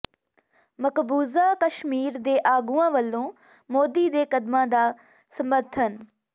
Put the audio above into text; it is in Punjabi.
ਮਕਬੂਜ਼ਾ ਕਸ਼ਮੀਰ ਦੇ ਆਗੂਆਂ ਵੱਲੋਂ ਮੋਦੀ ਦੇ ਕਦਮਾਂ ਦਾ ਸਮੱਰਥਨ